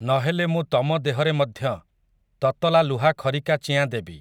ନ ହେଲେ ମୁଁ ତମ ଦେହରେ ମଧ୍ୟ, ତତଲା ଲୁହା ଖରିକା ଚିଆଁ ଦେବି ।